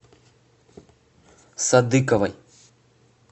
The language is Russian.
садыковой